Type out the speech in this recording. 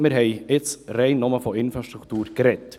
Wir haben jetzt rein nur von Infrastruktur gesprochen.